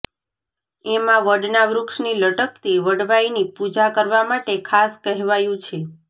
એમાં વડના વૃક્ષની લટકતી વડવાઈની પૂજા કરવા માટે ખાસ કહેવાયું છે